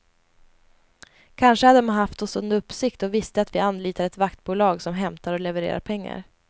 Kanske hade man haft oss under uppsikt och visste att vi anlitar ett vaktbolag som hämtar och levererar pengar.